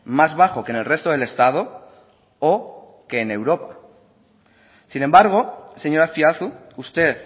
más bajo que en el resto del estado o que en europa sin embargo señor azpiazu usted